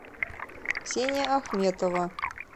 ксения ахметова